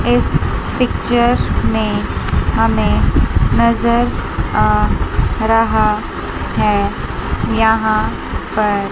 इस पिक्चर मे हमे नज़र आ रहा है यहां पर --